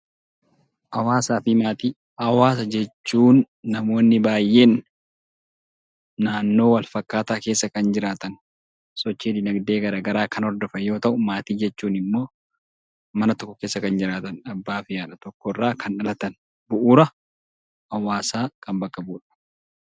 Hawaasa jechuun namoonni baay'een naannoo wal fakkaataa keessa kan jiraatan, sochii dinagdee garaa garaa kan hordofan yoo ta'u, maatii jechuun immoo mana tokko keessa kan jiraatan abbaa fi haadha tokkorraa kan dhalatan, bu'uura hawaasaa kan bakka bu'udha